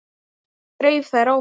En hvað dreif þær áfram?